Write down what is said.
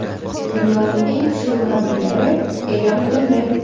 Dunyoning eng kuchli murabbiylari e’lon qilindi.